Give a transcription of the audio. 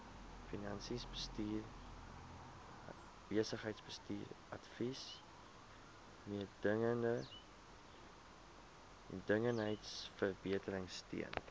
finansies besigheidsbestuursadvies mededingendheidsverbeteringsteun